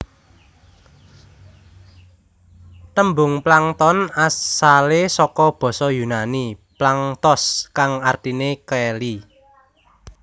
Tembung plankton asale saka basa yunani planktos kang artine keli